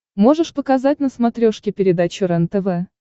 можешь показать на смотрешке передачу рентв